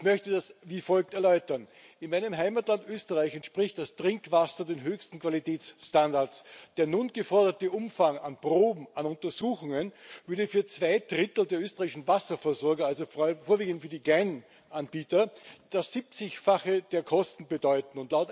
Ich möchte das wie folgt erläutern In meinem Heimatland Österreich entspricht das Trinkwasser den höchsten Qualitätsstandards. Der nun geforderte Umfang an Proben, an Untersuchungen, würde für zwei Drittel der österreichischen Wasserversorger, vor allen Dingen für die kleinen Anbieter, das Siebzigfache der Kosten bedeuten.